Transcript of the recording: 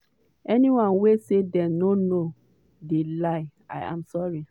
anyone wey say dem no know dey lie i'm sorry".